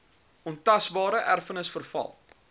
ontasbare erfenis veral